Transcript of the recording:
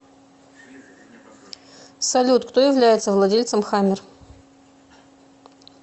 салют кто является владельцем хаммер